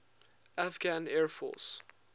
afghan air force